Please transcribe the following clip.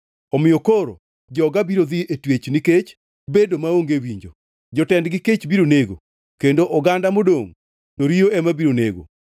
Omiyo koro joga biro dhi e twech nikech bedo maonge winjo; jotendgi kech biro nego, Kendo oganda modongʼ to riyo ema biro nego.